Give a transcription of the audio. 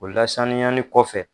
O lasaniyani kɔfɛ